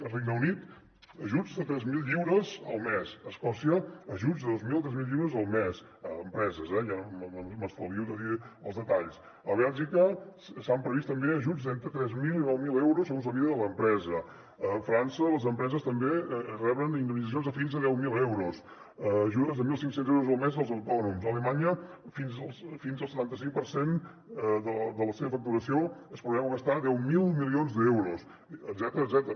al regne unit ajuts de tres mil lliures al mes a escòcia ajuts de dos mil o tres mil lliures al mes a empreses eh m’estalvio de dir els detalls a bèlgica s’han previst també ajuts d’entre tres mil i nou mil euros segons la mida de l’empresa a frança les empreses també reben indemnitzacions de fins a deu mil euros ajudes de mil cinc cents euros al mes als autònoms a alemanya fins al setanta cinc per cent de la seva facturació es preveu gastar deu mil milions d’euros etcètera